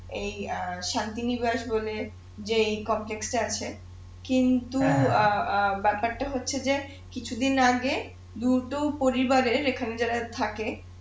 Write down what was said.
এই শান্তি নিবাস বনে যেই এ আছে কিন্তু অ্যাঁ ব্যাপারটা হচ্ছে যে কিছু দিন আগে দুটো পরিবারের এখানে যারা থাকে